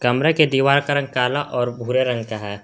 कमरा के दीवार का रंग काला और भूरे रंग का है।